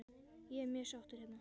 Ég er mjög sáttur hérna.